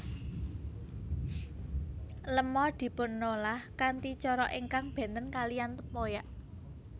Lema dipunolah kanthi cara ingkang bènten kalihan tempoyak